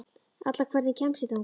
Alla, hvernig kemst ég þangað?